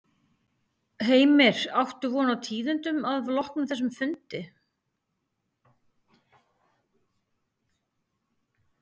Heimir: Áttu von á tíðindum af loknum þessum fundi?